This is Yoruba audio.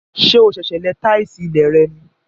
Ṣé o sèsè lẹ táìsì ilé rẹ ní?